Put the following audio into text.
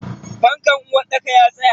Fankan uwarɗakar ya tsaya.